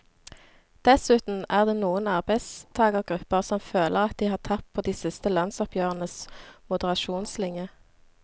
Dessuten er det noen arbeidstagergrupper som føler at de har tapt på de siste lønnsoppgjørenes moderasjonslinje.